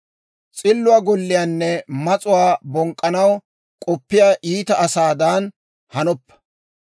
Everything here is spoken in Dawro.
S'illuwaa golliyaanne mas'uwaa bonk'k'anaw k'oppiyaa iita asaadan hanoppa.